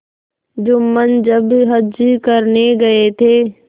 जुम्मन जब हज करने गये थे